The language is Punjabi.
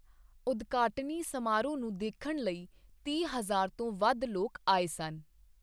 ਉਦਘਾਟਨੀ ਸਮਾਰੋਹ ਨੂੰ ਦੇਖਣ ਲਈ ਤੀਹ ਹਜ਼ਾਰ ਤੋਂ ਵੱਧ ਲੋਕ ਆਏ ਸਨ।